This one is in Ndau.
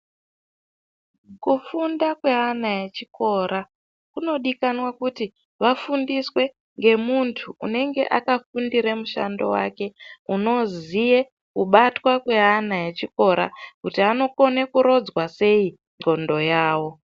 Kufunda kweana echikora kunodikana kuti vafundiswe ngemuntu unenge akafundira mushando wake